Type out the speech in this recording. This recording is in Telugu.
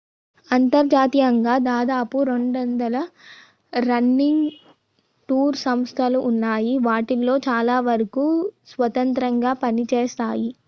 అంతర్జాతీయంగా దాదాపు 200 రన్నింగ్ టూర్ సంస్థలు ఉన్నాయి వాటిలో చాలా వరకు స్వతంత్రంగా పనిచేస్తాయి